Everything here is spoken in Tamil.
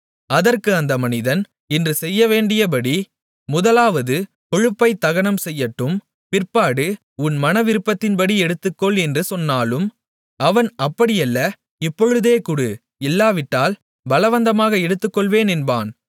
அதற்கு அந்த மனிதன் இன்று செய்யவேண்டியபடி முதலாவது கொழுப்பைத் தகனம் செய்யட்டும் பிற்பாடு உன் மனவிருப்பத்தின்படி எடுத்துக்கொள் என்று சொன்னாலும் அவன் அப்படியல்ல இப்பொழுதே கொடு இல்லாவிட்டால் பலவந்தமாக எடுத்துக்கொள்வேன் என்பான்